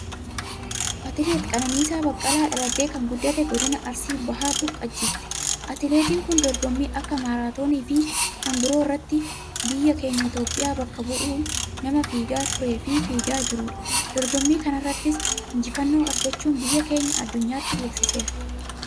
Atileet Qananiisaa Baqqalaa, dhalatee kan guddate, Godina Arsii Bahaa Boqojjiitti. Atileettin kun, dorgommii akka maaraatooniifi kan biroo irratti biyya keenya Itiyoophiyaa bakka bu' uun nama fiigaa tureefi fiigaa jiruudha. Dorgommii kanarrattis, injifannoo argachuun, biyya keenya addunyaatti beeksiseera.